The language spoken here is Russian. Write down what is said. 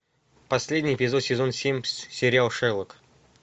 последний эпизод сезон семь сериал шерлок